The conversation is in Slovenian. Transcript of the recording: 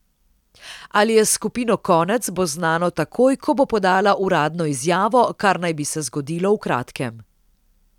Ali je s skupino konec, bo znano takoj, ko bo podala uradno izjavo, kar naj bi se zgodilo v kratkem.